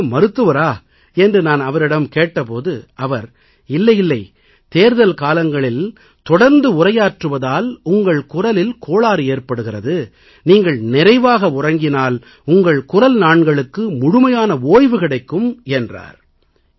நீங்கள் என்ன மருத்துவரா என்று நான் அவரிடம் கேட்ட போது அவர் இல்லை இல்லை தேர்தல் காலங்களில் தொடர்ந்து உரையாற்றுவதால் உங்கள் குரலில் கோளாறு ஏற்படுகிறது நீங்கள் நிறைவாக உறங்கினால் உங்கள் குரல் நாண்களுக்கு முழுமையான ஓய்வு கிடைக்கும் என்றார்